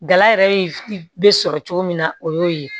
Gala yɛrɛ bɛ sɔrɔ cogo min na o y'o ye